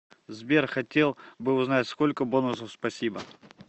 сбер хотел бы узнать сколько бонусов спасибо